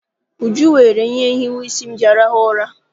Uju weere ihe nhiwe isi m ji arahụ ụra.